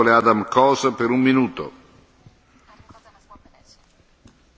A jelentés előremutató részét már többen kiemelték előttem.